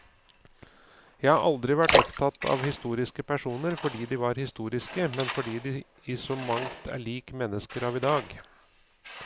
Jeg har aldri vært opptatt av historiske personer fordi de var historiske, men fordi de i så mangt er lik mennesker av i dag.